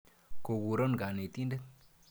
Go kuron kanetindet.